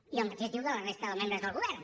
i el mateix diu de la resta de membres del govern